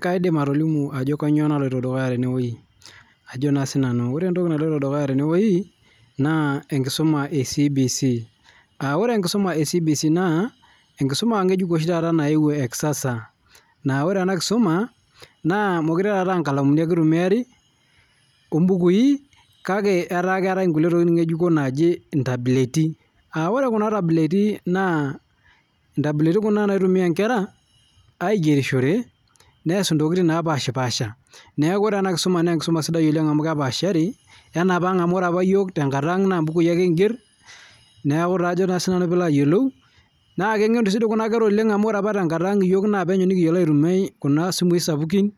kaidim atolimu entoki naloito dukuya tenewueji naa enkisuma ee CBC aa ore enkisuma ee CBC naa ee nkisuma ng'ejuk nayewuo taata ee kisasa naa ore ena kisuma naa mekure aa nkalamuni ake eitumiari obukui kake etaa keetae nkulie tokitin ngejuko naaji tabuleti ore Kuna tabuleti etii naa ntabuleti taata naitumia Nkera aigerishore neas ntokitin napashipasha neeku ore ena kisuma naa kisidai amu kepasharii enapang amu ebukui apake kigero neeku kengenu kuna kera oleng amu ore apa tenkata ang naa penyo nikiyiolo aitumia Kuna simui sapukin